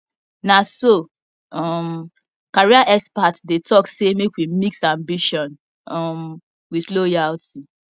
na so um career expert dey talk say may we mix ambition um with loyalty